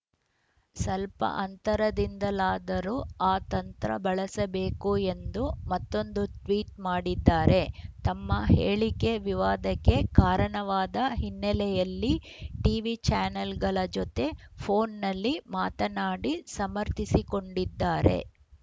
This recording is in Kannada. ಸಲ್ಪ ಅಂತರದಿಂದಲಾದರೂ ಆ ತಂತ್ರ ಬಳಸಬೇಕು ಎಂದು ಮತ್ತೊಂದು ಟ್ವೀಟ್‌ ಮಾಡಿದ್ದಾರೆ ತಮ್ಮ ಹೇಳಿಕೆ ವಿವಾದಕ್ಕೆ ಕಾರಣವಾದ ಹಿನ್ನೆಲೆಯಲ್ಲಿ ಟೀವಿ ಚಾನೆಲ್‌ಗಳ ಜತೆ ಫೋನ್‌ನಲ್ಲಿ ಮಾತನಾಡಿ ಸಮರ್ಥಿಸಿಕೊಂಡಿದ್ದಾರೆ